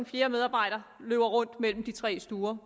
fjerde medarbejder løber så rundt mellem de tre stuer